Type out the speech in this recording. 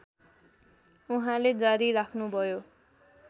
उहाँले जारी राख्नुभयो